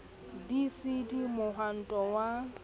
b c d mohwanto wa